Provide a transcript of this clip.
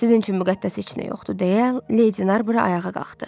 Sizin üçün müqəddəs heç nə yoxdur deyə Lady Narbur ayağa qalxdı.